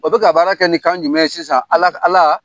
O bɛ ka baara kɛ ni kan jumɛn ye sisan Ala Ala